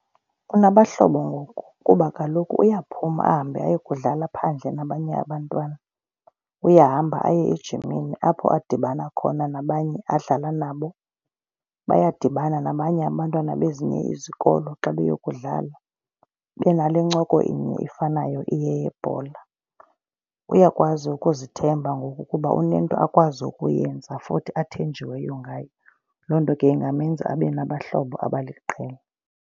Unabahlobo ngoku kuba kaloku uyaphuma ahambe ayokudlala phandle nabanye abantwana. Uyahamba aye ejimini apho adibana khona nabanye adlala nabo. Bayadibana nabanye abantwana bezinye izikolo xa beyokudlala, benale ncoko inye ifanayo iyeyebhola. Uyakwazi ukuzithemba ngoku kuba unento akwazi ukuyenza futhi athenjiweyo ngayo. Loo nto ke ingamenza abe nabahlobo abaliqela.